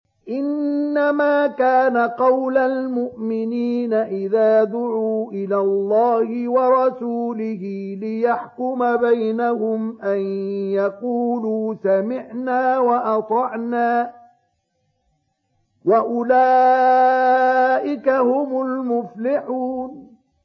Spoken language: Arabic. إِنَّمَا كَانَ قَوْلَ الْمُؤْمِنِينَ إِذَا دُعُوا إِلَى اللَّهِ وَرَسُولِهِ لِيَحْكُمَ بَيْنَهُمْ أَن يَقُولُوا سَمِعْنَا وَأَطَعْنَا ۚ وَأُولَٰئِكَ هُمُ الْمُفْلِحُونَ